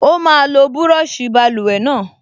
Ó máa lo búrọ̀ṣì báluwẹ̀ náà